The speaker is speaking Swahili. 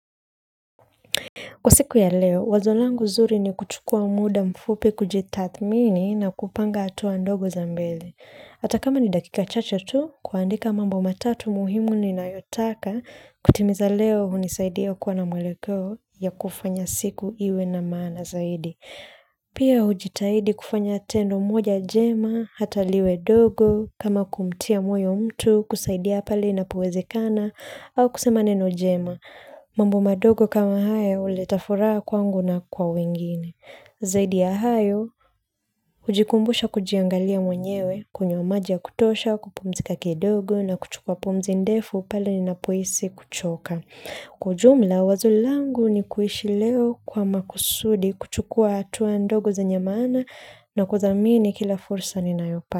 Kwa siku ya leo, wazo langu zuri ni kuchukua muda mfupi kujitathmini na kupanga atuwa ndogo za mbele. Ata kama ni dakika chache tu, kuandika mambo matatu muhimu ninayotaka, kutimiza leo hunisaidia kuwa na mweleko ya kufanya siku iwe na maana zaidi. Pia hujitahidi kufanya tendo moja jema, hataliwe dogo, kama kumtia mwoyo mtu, kusaidia pale inapo wezekana, au kusema neno jema. Mambo madogo kama haya huleta furaa kwangu na kwa wengine. Zaidi ya hayo, hujikumbusha kujiangalia mwenyewe kunywa maji ya kutosha kupumzika kidogo na kuchukua pumzi ndefu pala ninapohisi kuchoka. Kwa ujumla, wazo langu ni kuishi leo kwa makusudi kuchukua hatua ndogo zenye maana na kudhamini kila fursa ninayopa.